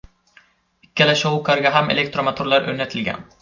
Ikkala shou-karga ham elektromotorlar o‘rnatilgan.